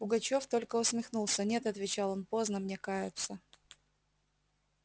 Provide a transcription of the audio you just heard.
пугачёв только усмехнулся нет отвечал он поздно мне каяться